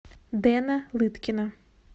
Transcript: дэна лыткина